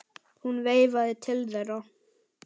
Hún veifaði til þeirra.